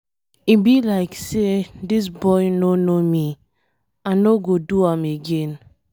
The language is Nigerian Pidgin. E be like say dis boy no know me. I no go do am again.